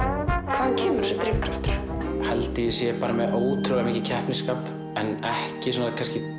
hvaðan kemur þessi drifkraftur ég held að ég sé bara með ótrúlega mikið keppnisskap en ekki svona